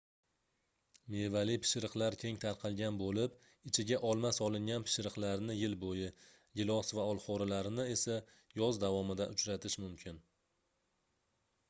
mevali pishiriqlar keng tarqalgan boʻlib ichiga olma solingan pishiriqlarni yil boʻyi gilos va olxoʻrililarini esa yoz davomida uchratish mumkin